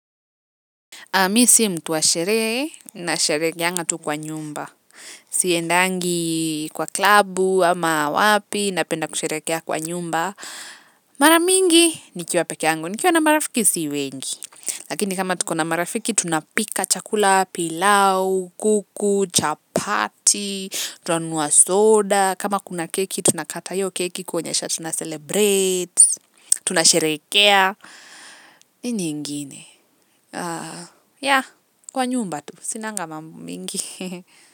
Mi si mtu wa sherehe, nasherehekeanga tu kwa nyumba. Siendangi kwa klabu ama wapi napenda kusherehekea kwa nyumba. Mara mingi nikiwa pekeangu, nikiwa na marafiki si wengi. Lakini kama tuko na marafiki, tunapika chakula, pilau, kuku, chapati, tunanunua soda. Kama kuna keki, tunakata hiyo keki kuonyesha tunacelebrate. Tunasherehekea. Nini ingine, yeah, kwa nyumba tu, sinanga mambo mengi.